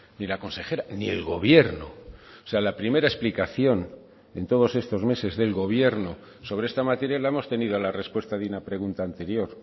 ni la consejera ni el gobierno o sea la primera explicación en todos estos meses del gobierno sobre esta materia la hemos tenido a la respuesta de una pregunta anterior